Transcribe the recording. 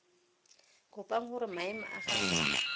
kopang gore maemo a gagwe